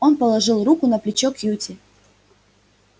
он положил руку на плечо кьюти